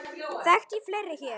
Þekkti ég fleiri hér?